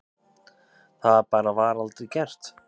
Það bara var aldrei gert.